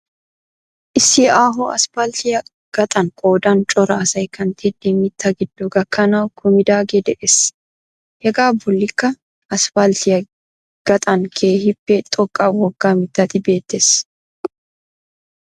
Issi aaho asphaltiyaa gaxan qoodan cora asay kanttidi mittaa giddo gakanawu kumidaagee de'ees. Hegaa bolikkaa asphalttiyaa gaxan keehiippe xoqqa wogga mittati beettees.